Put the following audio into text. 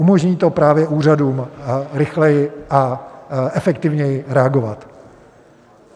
Umožní to právě úřadům rychleji a efektivněji reagovat.